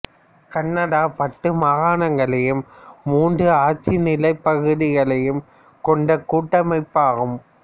Canada பத்து மாகாணங்களையும் மூன்று ஆட்சி நிலப்பகுதிகளையும் கொண்ட கூட்டமைப்பு ஆகும்